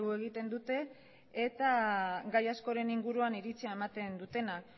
egiten dute eta gai askoren inguruan iritzia ematen dutenak